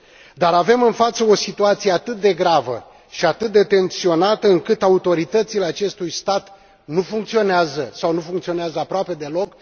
Dar avem în față o situație atât de gravă și atât de tensionată încât autoritățile acestui stat nu funcționează sau nu funcționează aproape deloc.